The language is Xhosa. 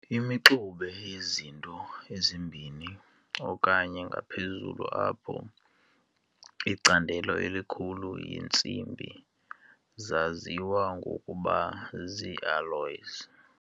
Imixube yezinto ezimbini okanye ngaphezulu apho icandelo elikhulu yintsimbi zaziwa ngokuba ziialloys.